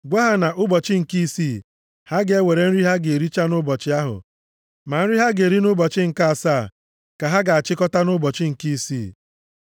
Gwa ha na nʼụbọchị nke isii, ha ga-ewere nri ha ga-ericha nʼụbọchị ahụ, ma nri ha ga-eri nʼụbọchị nke asaa, ka ha ga-achịkọta nʼụbọchị nke isii.”